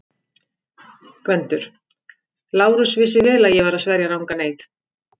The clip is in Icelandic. GVENDUR: Lárus vissi vel að ég var að sverja rangan eið.